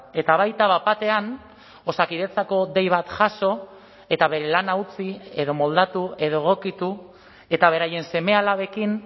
eta baita bat batean osakidetzako dei bat jaso eta bere lana utzi edo moldatu edo egokitu eta beraien seme alabekin